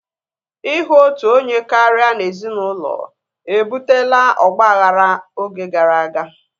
Ihu otu onye karịa n'ezinụlọ ebutela ọgbaghara oge gara aga